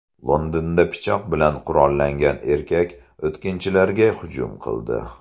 Londonda pichoq bilan qurollangan erkak o‘tkinchilarga hujum qildi.